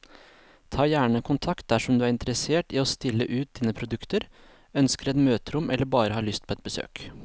Ta gjerne kontakt dersom du er interessert i å stille ut dine produkter, ønsker et møterom eller bare har lyst på et besøk.